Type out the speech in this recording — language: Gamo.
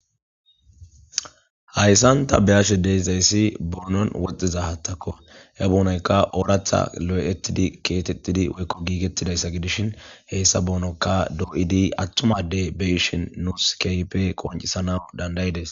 Haysan ta be7ashe dizaysi boonon diza haaththako he ogenika lo7idi osettidi giigettidayssa gidishin he boononka attuma addey dizaysi keehippe beyanas qoncekko.